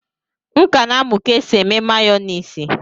M ka na-amụ ka e si eme mayonisi